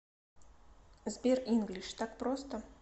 сбер инглиш так просто